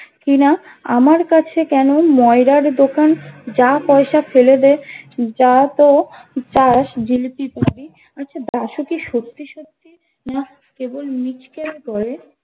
কিনা আমার কাছে কেন ময়রার দোকান যা পয়সা ফেলে দে যা তো চাস জিলিপির পাবি আচ্ছা দাসু কি সত্যি সত্যি না কেবল মিচকে করে